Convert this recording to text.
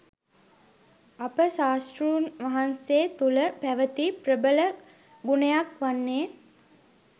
අප ශාස්තෘන් වහන්සේ තුළ පැවැති ප්‍රබල ගුණයක් වන්නේ